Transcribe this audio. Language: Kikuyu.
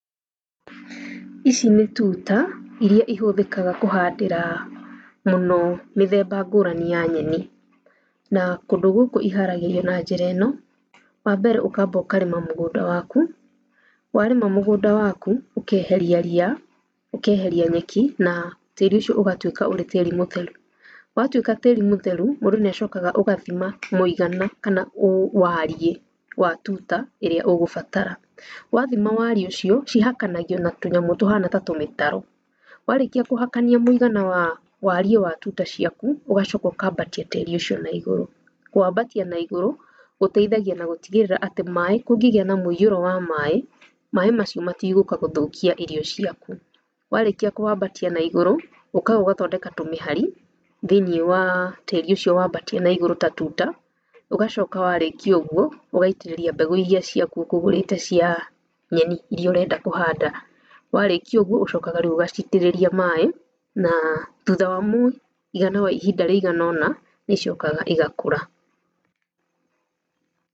Ici nĩ tuta iria ihũthĩkaga kũhandĩra mũno mĩthemba ngũrani ya nyeni, na kũndũ iharagĩrio na njĩra ĩno; wa mbere ũkamba kũrĩma mũgũnda waku, wa rĩma mũgũnda waku, ũkeheria ria, ũkeheria nyeki na tĩri ũcio ũgatũĩka ũrĩ tĩri mũtheru, watuĩka tĩri mũtheru mũndũ niacokaga agathima mũigana kana wũ wariĩ wa tuta ĩrĩa ũgũbatara, wathima wariĩ ũcio, cihakanagio na tũnyamũ tũhana ta tũmĩtaro. ‎Warĩkia kũhakania mũigana wa wariĩ wa tuta ciaku, ũgacoka ũkambatia tĩri ũcio na igũrũ, kũwambatia na igũrũ, gũteithagia na gũtigĩrĩra atĩ maĩ kũngĩgĩa na mũiyũro wa maĩ, maĩ macio matigũka gũthũkia irio ciaku, warĩkia kũwambatia na igũrũ, ũkaga ũgathondeka tũmĩhari thĩinĩ waa tĩri ũcio wambatia na igũrũ ta tuta, ũgacoka warĩkia ũguo ũgaitĩrĩria mbegũ iria ciaku ũkũgũrĩte cia nyeni iria ũrenda kũhanda, warĩkia ũguo ũcokaga rĩu ũgacitĩrĩria maĩ naa thutha wa mũi-igana wa ihinda rĩiganona nĩicokaga igakũra